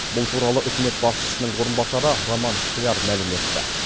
бұл туралы үкімет басшысының орынбасары роман скляр мәлім етті